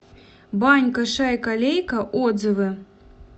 банька шайка лейка отзывы